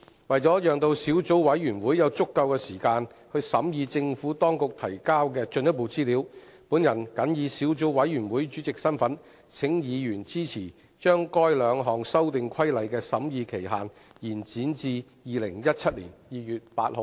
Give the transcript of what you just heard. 為了讓小組委員會有足夠時間審議政府當局提交的進一步資料，本人謹以小組委員會主席身份，請議員支持將該兩項修訂規例的審議期限，延展至2017年2月8日。